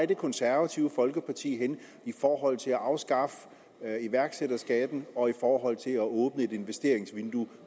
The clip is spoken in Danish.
det konservative folkeparti i forhold til at afskaffe iværksætterskatten og i forhold til at åbne et investeringsvindue